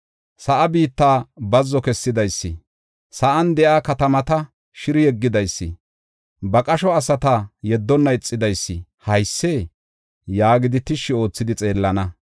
sa7aa biitta bazzo kessidaysi, sa7an de7iya katamata shiri yeggidaysi, ba qasho asata yeddonna ixidaysi haysee?” yaagidi tishshi oothidi xeellana.